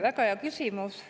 Väga hea küsimus.